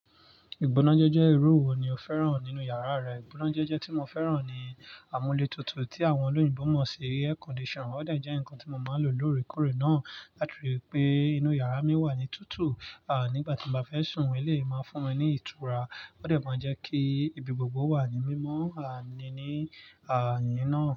Ìgbónájejẹ́ jẹ́ irú wo ni o fẹ́ràn nínú yàrá rẹ? Ìgbónájẹ́jẹ́ tí mo fẹ́ràn ni amúlé tutù tí àwọn olóyìnbo mọ̀ sí air conditioner. Ó de jẹ́ nǹkan tí mo máa ń lò lóorekóòrè náà láti rí pé inú yàrá mi wà ní tutù. Nígbà tí mo bá fẹ́ sùn, elèyi máa n fún mi ní ìtura. Ó de máa ń jẹ́ kí ibi gbogbo wà ní mímọ́, àní ní àni náà.